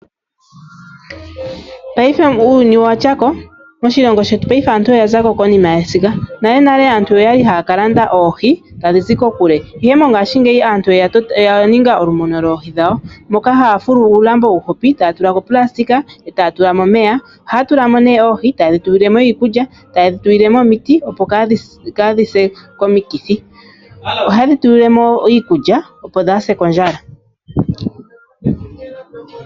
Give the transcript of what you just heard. Paife uuyuni owa tyako, moshilongo shetu paife aantu oya zako konima yesiga. Nalenale aantu oya li haya ka landa oohi tadhi zi kokule. Ihe mongaashingeyi aantu oya ninga olumono lwoohi dhawo, moka haya fulu uulambo uuhupi, etaya tula ko opulasitika, etaya tula ko omeya, ohaya tula mo nee oohi, etaye dhi tulile mo iikulya, etaye dhi tulile mo omiti opo kadhi se komikithi. Ohaye dhi tulile mo iikulya opo dhaase kondjala.